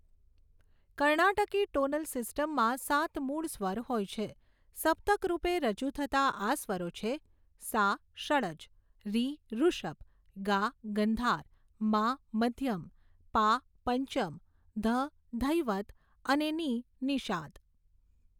કર્ણાટકી tonal સિસ્ટમમાં સાત મૂળ સ્વર હોય છે, સપ્તક રૂપે રજૂ થતાં આ સ્વરો છે, સા ષડ્જ, રી ઋષભ, ગા ગંધાર, મા મધ્યમ, પા પંચમ, ધ ધૈવત અને નિ નિષાદ.